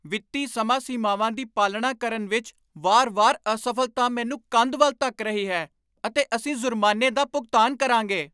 ਵਿੱਤੀ ਸਮਾਂ ਸੀਮਾਵਾਂ ਦੀ ਪਾਲਣਾ ਕਰਨ ਵਿੱਚ ਵਾਰ ਵਾਰ ਅਸਫ਼ਲਤਾ ਮੈਨੂੰ ਕੰਧ ਵੱਲ ਧੱਕ ਰਹੀ ਹੈ ਅਤੇ ਅਸੀਂ ਜ਼ੁਰਮਾਨੇ ਦਾ ਭੁਗਤਾਨ ਕਰਾਂਗੇ